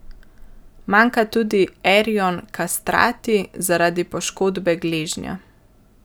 Manjka tudi Erjon Kastrati zaradi poškodbe gleženja.